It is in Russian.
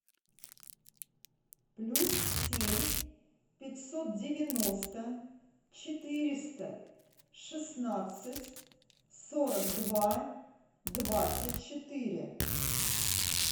плюс семь пятьсот девяносто четыреста шестнадцать сорок два двадцать четыре